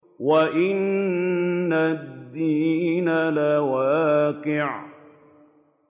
وَإِنَّ الدِّينَ لَوَاقِعٌ